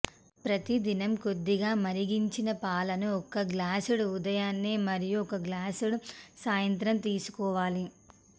ప్రతిదినం కొద్దిగా మరిగించిన పాలను ఒక గ్లాసుడు ఉదయాన్నే మరియు ఒక గ్లాసుడు సాయంత్రం తీసుకోవాలి